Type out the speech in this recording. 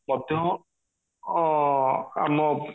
ମଧ୍ୟ ଅ ଆମ